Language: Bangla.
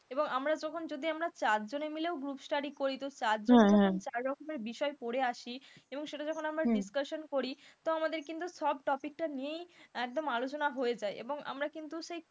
এবং আমরা যখন যদি আমরা চারজনে মিলেও group study করি তো চারজনে যখন চার রকম বিষয় পড়ে আসি, এবং সেটা যখন আমরা discussion করি তো আমাদেরকে কিন্তু সব topic টা নিয়েই একদম আলোচনা হয়ে যায়, এবং আমরা কিন্তু সেই,